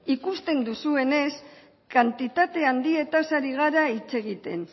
ikusten duzuenez kantitate handietaz ari gara hitz egiten